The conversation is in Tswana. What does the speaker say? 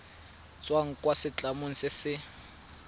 tswang kwa setlamong se se